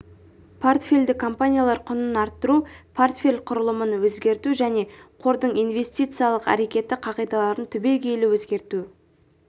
портфельді компаниялар құнын арттыру портфель құрылымын өзгерту және қордың инвестициялық әрекеті қағидаларын түбегейлі өзгерту